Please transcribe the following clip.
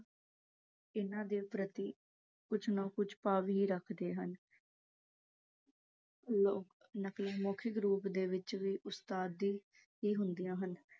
ਇਹਨਾਂ ਦੇ ਪ੍ਰਤੀ ਕੁੱਝ ਨਾ ਕੁੱਝ ਭਾਵ ਹੀ ਰੱਖਦੇ ਹਨ ਉਹ ਨਕਲ ਮੌਖਿਕ ਰੂਪ ਦੇ ਵਿੱਚ ਵੀ ਉਸਤਾਦੀ ਹੀ ਹੁੰਦੀਆਂ ਹਨ